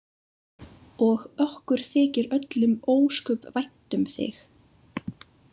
Og okkur þykir öllum ósköp vænt um þig.